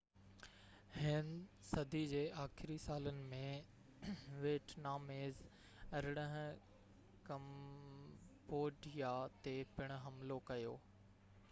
18هين صدي جي آخري سالن ۾ ويٽناميز ڪمبوڊيا تي پڻ حملو ڪيو